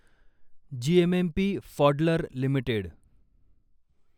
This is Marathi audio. जीएमएमपी फॉडलर लिमिटेड